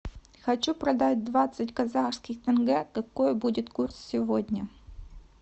хочу продать двадцать казахских тенге какой будет курс сегодня